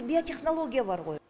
биотехнология бар ғой